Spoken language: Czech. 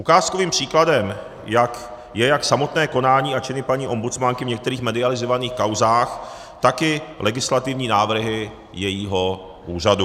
Ukázkovým příkladem je jak samotné konání a činy paní ombudsmanky v některých medializovaných kauzách, tak i legislativní návrhy jejího úřadu.